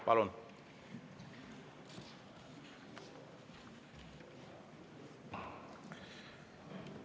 Palun!